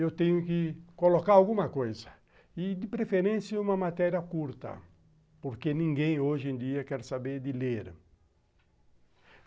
eu tenho que colocar alguma coisa, e de preferência uma matéria curta, porque ninguém hoje em dia quer saber de ler.